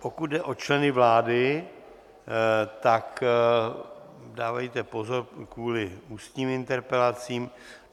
Pokud jde o členy vlády, tak dávejte pozor kvůli ústním interpelacím.